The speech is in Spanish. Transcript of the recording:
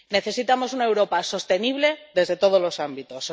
Necesitamos una Europa sostenible desde todos los ámbitos.